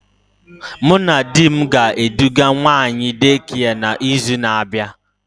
Mụ na di m ga eduga nwa anyị Daycare na izu na abịa